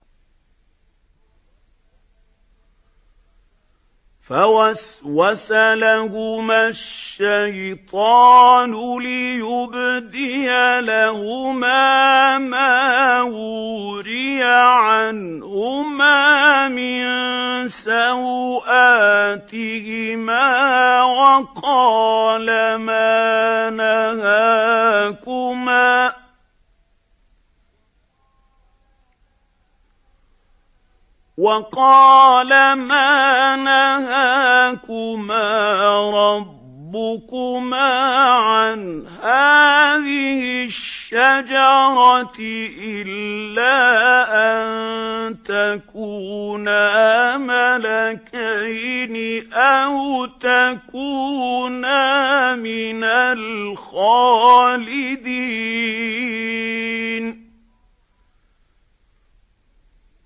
فَوَسْوَسَ لَهُمَا الشَّيْطَانُ لِيُبْدِيَ لَهُمَا مَا وُورِيَ عَنْهُمَا مِن سَوْآتِهِمَا وَقَالَ مَا نَهَاكُمَا رَبُّكُمَا عَنْ هَٰذِهِ الشَّجَرَةِ إِلَّا أَن تَكُونَا مَلَكَيْنِ أَوْ تَكُونَا مِنَ الْخَالِدِينَ